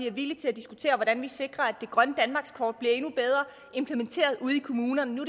er villig til at diskutere hvordan vi sikrer at det grønne danmarkskort bliver endnu bedre implementeret ude i kommunerne nu